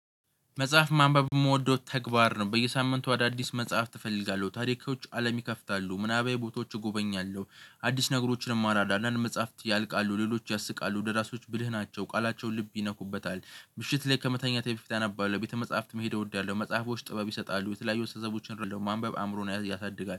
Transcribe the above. መጽሐፍ ማንበብ የምወደው ተግባር ነው። በየሳምንቱ አዳዲስ መጽሐፍ ትፈልጋለሁ ታሪኮች አለም ይከፍታሉ ምናባዊ ቦታዎች እጎበኛለሁ። አዲስ ነገሮችንም አራዳለን መጽሐፍት ያልቃሉ ሌሎች ያስቃሉ ወደ ደራሶች ብልህ ናቸው ቃላቸው ልብ ይነኩበታል። ምሽት ላይ ከመተኛቴ በፊት አነባለሁ ቤተ መጽሐፍትም ሄደው እወዳለሁ። መጽሐፎች ጥበብ ይሰጣሉ የተለያዩ ጥበቦችንን አንብቡ ማ አእምሮን ያሳድጋል